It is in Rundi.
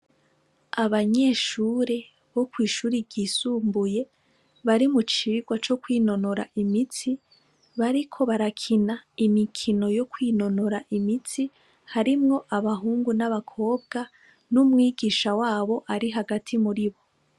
Abanyeshure bokwishure ry'isumbuye bari mucigwa cokwinonora imitsi, bariko barakina imikino yokwinonora imitsi harimwo abahungu n'abakobwa n'umwigisha wabo ari hagati muribo.